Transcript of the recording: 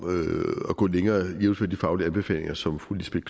at gå længere jævnfør de faglige anbefalinger som fru lisbeth